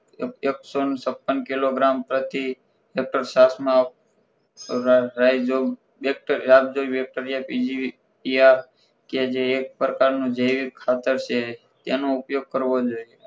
એકસો છપ્પન કિલોગ્રામ પર થી લિટર છાસમાં રાયસ જેવુ બેકટર રાયસ જેવુ બેકટર જે આ જે એક પ્રકારનું જૈવિક ખાતર છે તેનો ઉપયોગ કરવો જોઈએ